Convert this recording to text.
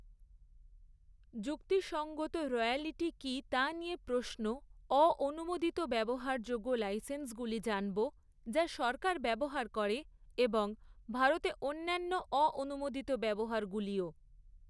যুক্তিসঙ্গত রয়্যালটি কী তা নিয়ে প্রশ্ন অ অনুমোদিত ব্যবহারযোগ্য লাইসেন্সগুলি জানব যা সরকার ব্যবহার করে এবং ভারতে অন্যান্য অ অনুমোদিত ব্যবহারগুলিও।